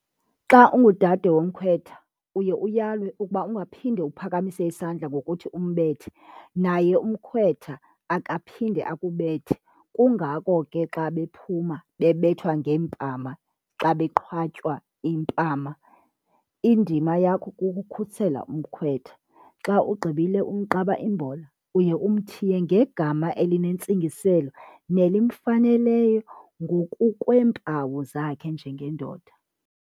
Xa engudade womkhwetha uye uyalwe ukuba ungaphinde uphakamise isandla ngokuthi umbethe naye umkhwetha akaphinde akubethe, kungako ke xa bephuma bebethwa ngeempama xa beqhwatywa impama. Indima yakho kukukhusela umkhwetha xa ugqibile umqaba imbola uye umthiye ngegama elinentsingiselo nelimfaneleyo ngokukweempawu zakhe njengendoda.